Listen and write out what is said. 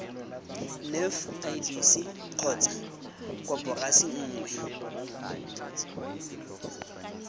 nef idc kgotsa koporasi nngwe